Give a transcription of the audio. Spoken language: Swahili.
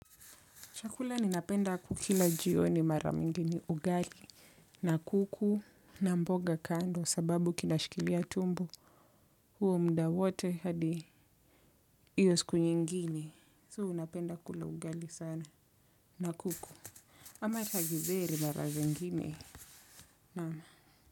Chakula ninapenda kukila jioni mara mingi ni ugali na kuku na mboga kando sababu kinashikilia tumbo huo muda wote hadi hiyo siku nyingine. So napenda kula ugali sana na kuku. Ama hata githeri mara zingine naam.